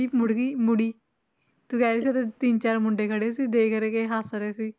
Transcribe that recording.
ਮੁੜ ਗਈ ਮੁੜੀ ਤੂੰ ਕਹਿ ਰਹੀ ਸੀ ਉੱਥੇ ਤਿੰਨ ਚਾਰ ਮੁੰਡੇ ਖੜੇ ਸੀ ਦੇਖ ਹੱਸ ਰਹੇ ਸੀ।